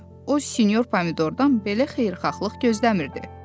O sinyor pomidordan belə xeyirxahlıq gözləmirdi.